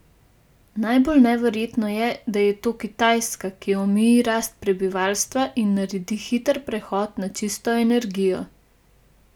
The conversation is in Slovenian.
Najbolj neverjetno je, da je to Kitajska, ki omeji rast prebivalstva in naredi hiter prehod na čisto energijo.